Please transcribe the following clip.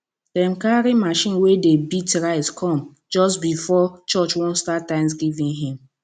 dem carry machine wey dey beat rice come just before church wan start thanksgiving hymn